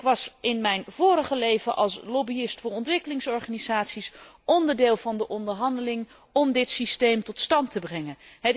Ik nam in mijn vorige leven als lobbyist voor ontwikkelingsorganisaties deel aan de onderhandeling om dit systeem tot stand te brengen.